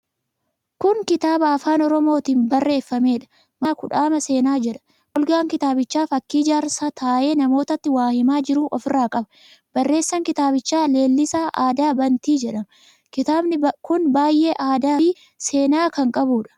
Kun kitaaba afaan Oromootiin barreeffameedha. Mata dureen kitaaba kanaa Kudhaama Seenaa jedha. Golgaan kitaabichaa fakkii jaarsaa taa'ee namootatti waa himaa jiruu ofirraa qaba. Barreessaan kitaabichaa Leellisaa Aadaa Bantii jedhama. Kitaabni kun qabiyyee aadaafi seenaa kan qabuudha.